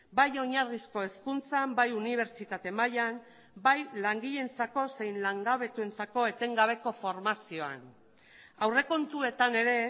bai oinarrizko hezkuntzan bai unibertsitate mailan bai langileentzako zein langabetuentzako etengabeko formazioan aurrekontuetan ere